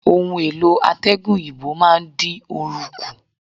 Ohun-èlò atẹgun òyìnbó máa ń dín oru kù.